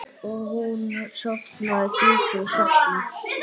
Og hún sofnaði djúpum svefni.